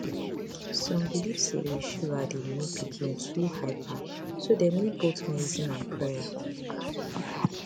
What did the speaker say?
some belief say sugar dey make pikin too hyper so dem need both medicine and prayer